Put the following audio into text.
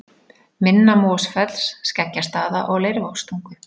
Minna-Mosfells, Skeggjastaða og Leirvogstungu.